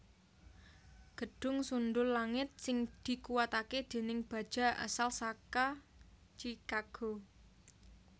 Gedhung sundhul langit sing dikuwataké déning baja asal saka Chicago